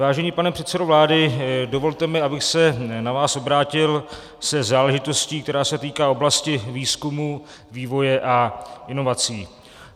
Vážený pane předsedo vlády, dovolte mi, abych se na vás obrátil se záležitostí, která se týká oblasti výzkumu, vývoje a inovací.